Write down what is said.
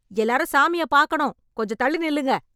எல்லாரும் சாமிய பாக்கணும், கொஞ்சம் தள்ளி நில்லுங்க.